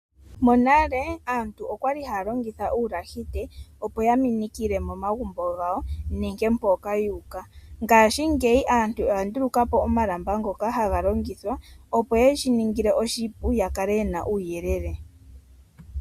Monale aantu okwali haya longitha uulahite opo ya minikile momagumbo gawo nenge mpoka yu uka. Ngashi ngeyi aantu oya ndulukapo omalamba ngoka haga longithwa opo yeshi ningile oshipu ya kale yena uuyelele.